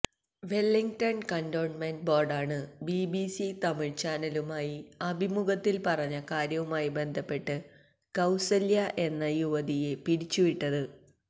Wellington cantonment ബോര്ഡാണ് BBC Tamil ചാനലുമായുള്ള അഭിമുഖത്തില് പറഞ്ഞ കാര്യവുമായി ബന്ധപ്പെട്ട് കൌസല്യ എന്ന യുവതിയെ പിരിച്ചുവിട്ടത്